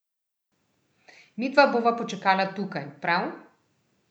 Midva bova počakala tukaj, prav?